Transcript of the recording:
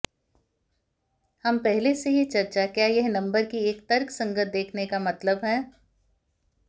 हम पहले से ही चर्चा क्या यह नंबर की एक तर्कसंगत देखने का मतलब है